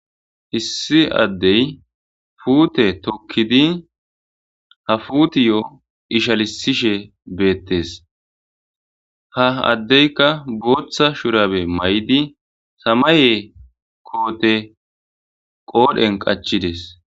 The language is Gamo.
hissi addey puute tokkidi ha fuutiyo ishalisishe beettes ha addeyka booththa shurabe may7di samaye koote qoodhen qachides.